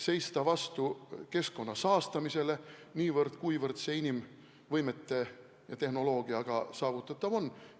Tuleb seista vastu keskkonna saastamisele niivõrd, kuivõrd see inimvõimete ja tehnoloogia abil saavutatav on.